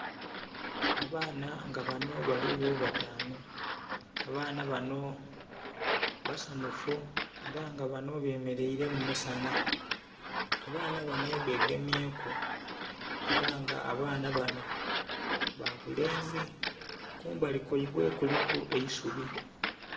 Abaana nga banho bali gho batanu, abaana banho basanhufu era nga banho bemereire mu musanha, abaana banho begemyeku era abaana banho babulenzi kumbali kwaibwe kuliku eisubi.